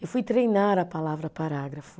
Eu fui treinar a palavra parágrafo.